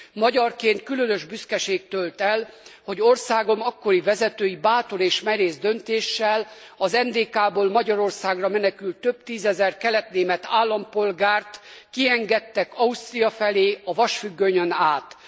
Magyarként különös büszkeség tölt el, hogy országom akkori vezetői bátor és merész döntéssel az NDK ból Magyarországra menekült több tízezer kelet német állampolgárt kiengedtek Ausztria felé, a vasfüggönyön át.